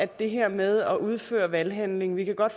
det her med at udføre en valghandling vi kan godt